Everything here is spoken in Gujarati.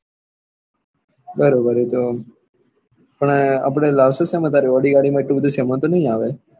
બરોબર એ તો પણ આપડે લાવ્સો સેમાં તારી audi ગાડી માં એટલો બધો સામાન તો ની આવે.